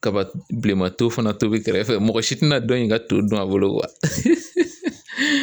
Kaba bilenman to fana tobi kɛrɛfɛ mɔgɔ si tɛna dɔ in ka to dun a bolo